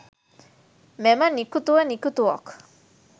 මෙම නිකුතුව නිකුතුවක්